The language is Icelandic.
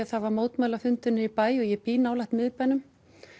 það var mótmælafundur niðri í bæ og ég bý nálægt miðbænum